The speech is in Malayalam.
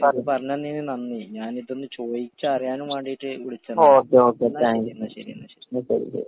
പറഞ്ഞോ പറഞ്ഞോ ഓക്കേ ഓക്കേ താങ്ക് യൂ ശരി ശരി